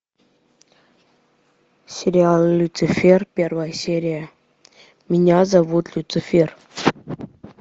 сериал люцифер первая серия меня зовут люцифер